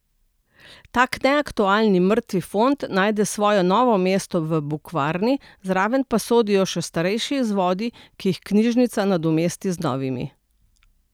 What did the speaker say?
Tako neaktualni mrtvi fond najde svoje novo mesto v Bukvarni, zraven pa sodijo še starejši izvodi, ki jih knjižnica nadomesti z novimi.